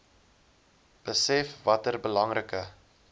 besef watter belangrike